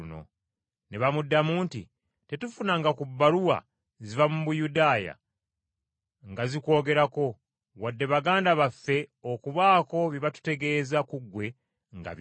Ne bamuddamu nti, “Tetufunanga ku bbaluwa ziva mu Buyudaaya nga zikwogerako, wadde baganda baffe okubaako bye batutegeeza ku ggwe nga bibi.